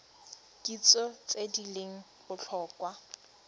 kitso tse di leng botlhokwa